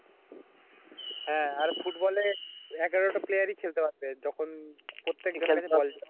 এগারো টা প্লেয়ার ই খেলতে পারবে যখন